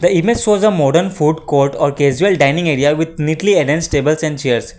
the image was a modern food court or casual dining area with neatly against tables and chairs.